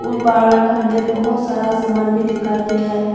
Barber का अंदर बहुत सारा सामान भी दिखाई दे रहा है।